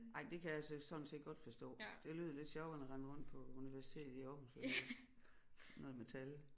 Ej det kan jeg så sådan set godt forstå det lyder lidt sjovere end at rende rundt på universitetet i Aarhus og læse noget med tal